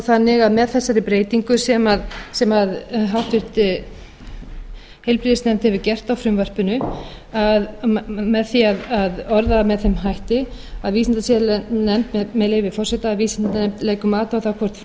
þannig að með þessari breytingu sem háttvirtur heilbrigðisnefnd hefur gert á frumvarpinu með því að orða það með þeim hætti með leyfi forseta að vísindasiðanefnd leggur mat á það hvort